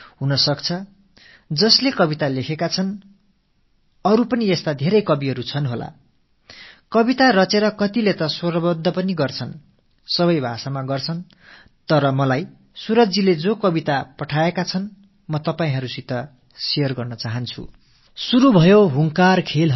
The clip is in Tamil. இவரைப் போலவே மேலும் பல கவிஞர்கள் இந்தக் கருத்தில் இன்னும் கவிதைகளை எழுதியிருக்கலாம் சிலரோ அவற்றுக்கு மெட்டமைத்துப் பாடல்களாக ஆக்கியுமிருக்கலாம் ஒவ்வொரு மொழியிலும் இது போல நடந்திருக்கலாம் ஆனால் இன்று சூரஜ் அவர்கள் எனக்கு எழுதியனுப்பிய கவிதையை நான் உங்களோடு பகிர்ந்து கொள்ள விரும்புகிறேன்